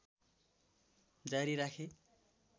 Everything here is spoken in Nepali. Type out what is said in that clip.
जारी राखे